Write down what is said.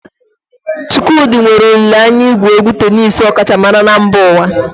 Chukwudi nwere olile anya igwu egwu tenisii ọkachamara na mba ụwa.